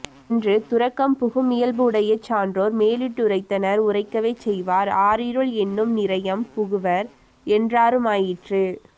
என்று துறக்கம் புகுமியல்புடைய சான்றோர் மேலிட்டுரைத்தனர் உரைக்கவே செய்வார் ஆரிருள் என்னும் நிரையம் புகுவர் என்றாருமாயிற்று